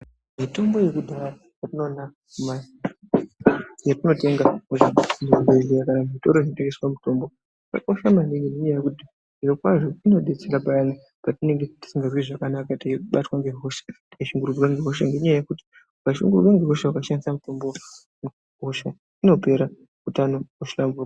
Mitombo yekudhaya yatinoona , yatinotenga muzvibhedlera kana zvitoro zvinotengeswa mitombo, yakakosha maningi nenyaya yekuti zviro kwazvo inobetsera patinenge tisingazwi zvakanaka teibatwa nehosha teishungurudzwa ngenyaya yekuti ukashungurudzwa nehosha ukashandisa mitombo , hosha inopera utano hohlamburuka.